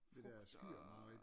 Frugt og øh